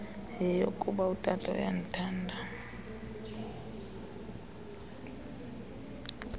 yeyokuba utata uyandithanda